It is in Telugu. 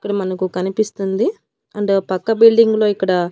ఇక్కడ మనకు కనిపిస్తుంది అండ్ ఆ పక్క బిల్డింగ్ లో ఇక్కడ--